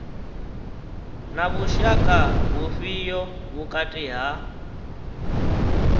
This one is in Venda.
na vhushaka vhufhio vhukati ha